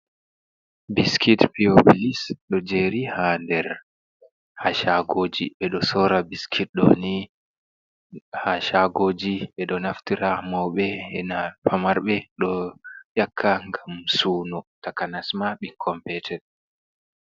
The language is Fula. Biskit piyo bilis doi jeeri ha caka nder haa caagojoi ɓe ɗo soora biskit ɗo haa caagooji ɓe ɗo naftira mawɓe bee famarɓe ɗo ƴakka ngam suuno, takanas maa ɓikkon peeton.